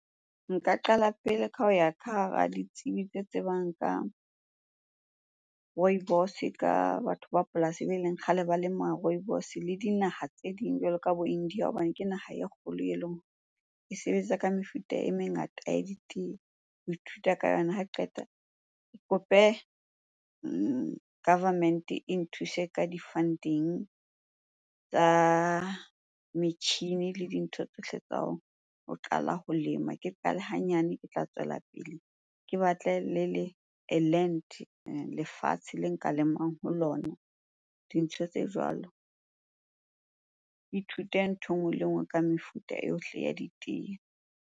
Nka qala pele ka ho ya ka hara ditsebi tse tsebang ka rooibos-e ka batho ba polasi beleng kgale ba lema rooibos-e le dinaha tse ding jwalo ka bo India hobane ke naha e kgolo e leng e sebetsa ka mefuta e mengata ya ditee, ho ithuta ka yona. Ha qeta ke kope government-e e nthuse ka di-funding tsa metjhini le dintho tsohle tsa ho qala ho lema. Ke qale hanyane ke tla tswela pele. Ke batle le a land, lefatshe le nka lemang ho lona, dintho tse jwalo. Ke ithute nthwe e nngwe le e nngwe ka mefuta ohle ya ditee.